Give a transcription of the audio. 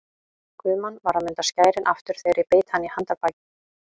Guðmann var að munda skærin aftur þegar ég beit hann í handarbakið.